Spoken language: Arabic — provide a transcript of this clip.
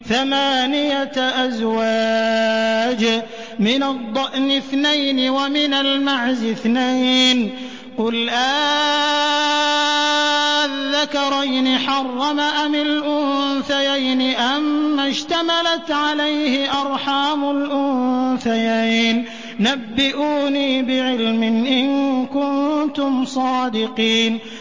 ثَمَانِيَةَ أَزْوَاجٍ ۖ مِّنَ الضَّأْنِ اثْنَيْنِ وَمِنَ الْمَعْزِ اثْنَيْنِ ۗ قُلْ آلذَّكَرَيْنِ حَرَّمَ أَمِ الْأُنثَيَيْنِ أَمَّا اشْتَمَلَتْ عَلَيْهِ أَرْحَامُ الْأُنثَيَيْنِ ۖ نَبِّئُونِي بِعِلْمٍ إِن كُنتُمْ صَادِقِينَ